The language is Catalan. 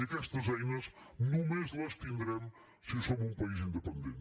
i aquestes eines només les tindrem si som un país independent